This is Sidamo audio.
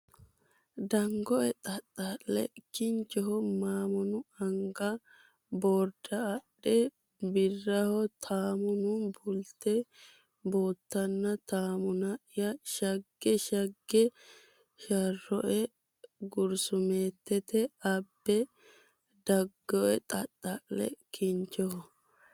Dangoe xaxxa le Kinchoho maamunu Anga borda adhe Birraho taamunu Bullite bootona Taamuna ya shagge Shagge shaarinoe gursumeette abbe Dangoe xaxxa le Kinchoho.